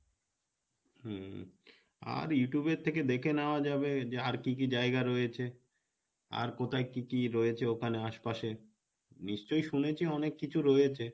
হম আর Youtube এর থেকে দেখে নেওয়া যাবে যে আর কী কী জায়গা রয়েছে আর কোথায় কী কী রয়েছে ওখানে আশপাশে নিশ্চয় শুনেছি অনেক কিছু রয়েছে,